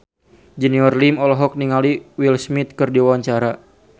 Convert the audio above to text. Junior Liem olohok ningali Will Smith keur diwawancara